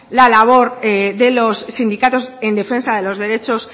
la labor de los sindicatos en defensa de los derechos